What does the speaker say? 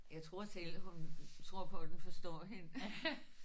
Jeg tror selv hun tror på den forstår hende